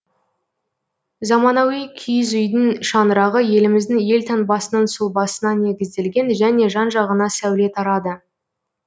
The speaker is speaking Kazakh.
заманауи киіз үйдің шаңырағы еліміздің елтаңбасының сұлбасына негізделген және жан жағына сәуле тарады